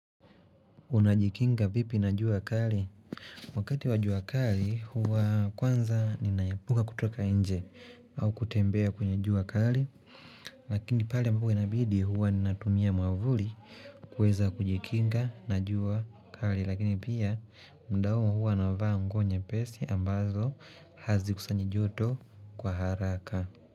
Unajikinga vipi na jua kali? Wakati wa jua kali huwa kwanza ninaepuka kutoka nje au kutembea kwenye jua kali Lakini pale ambao huwa inabidi huwa ninatumia mwavuli kuweza kujikinga na jua kali Lakini pia muda huo huwa navaa nguo nyepesi ambazo hazikusanyi joto kwa haraka.